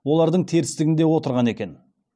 олардың терістігінде отырған екен